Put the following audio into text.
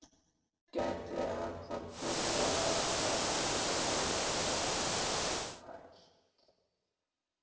Margt gæti ennþá byrjað, en mér finnst það hætt.